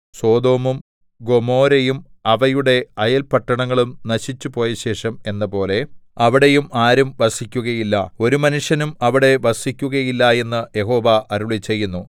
സൊദോമും ഗൊമോരയും അവയുടെ അയൽപട്ടണങ്ങളും നശിച്ചുപോയശേഷം എന്നപോലെ അവിടെയും ആരും വസിക്കുകയില്ല ഒരു മനുഷ്യനും അവിടെ വസിക്കുകയില്ല എന്ന് യഹോവ അരുളിച്ചെയ്യുന്നു